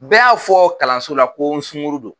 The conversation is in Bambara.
Bɛɛ y'a fɔ kalanso la ko n sunkuru don